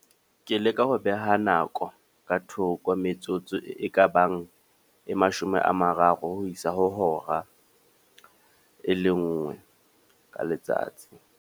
Ke leka ho beha nako ka thoko. Metsotso e ka bang e mashome a mararo, ho isa ho hora e le nngwe ka letsatsi.